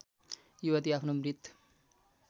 युवती आफ्नो मृत